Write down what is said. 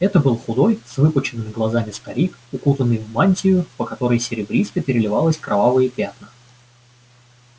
это был худой с выпученными глазами старик укутанный в мантию по которой серебристо переливались кровавые пятна